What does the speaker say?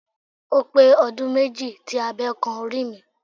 Ó pé ọdún méjì tí abe kan orí mi.